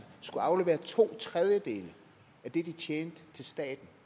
skulle aflevere to tredjedele af det de tjente til staten